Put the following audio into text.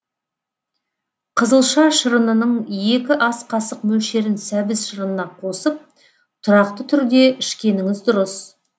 қызылша шырынының екі ас қасық мөлшерін сәбіз шырынына қосып тұрақты түрде ішкеніңіз дұрыс